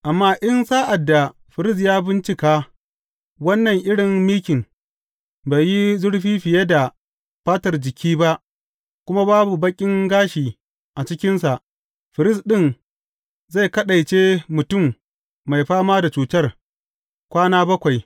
Amma in, sa’ad da firist ya bincika wannan irin mikin, bai yi zurfi fiye da fatar jiki ba kuma babu baƙin gashi a cikinsa, firist ɗin zai kaɗaice mutum mai fama da cutar, kwana bakwai.